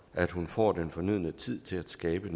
at hun får den fornødne tid til at skabe